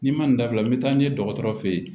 N'i ma nin dabila n bɛ taa n'i ye dɔgɔtɔrɔ feyi